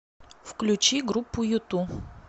включи группу юту